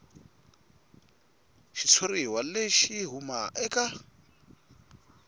xitshuriwa lexi xi huma eka